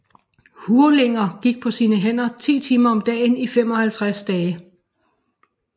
Hurlinger gik på sine hænder 10 timer om dagen i 55 dage